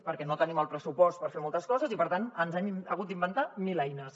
perquè no tenim el pressupost per fer moltes coses i per tant ens hem hagut d’inventar mil eines